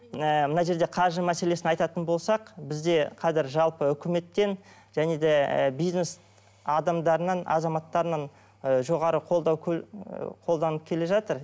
ы мына жерде қаржы мәселесін айтатын болсақ бізде қазір жалпы үкіметтен және де ы бизнес адамдарынан азаматтарынан ы жоғары қолдау қолданып келе жатыр